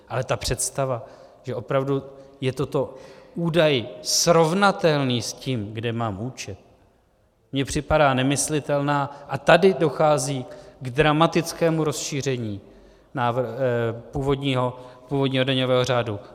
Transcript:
Ale ta představa, že opravdu je toto údaj srovnatelný s tím, kde mám účet, mi připadá nemyslitelná a tady dochází k dramatickému rozšíření původního daňového řádu.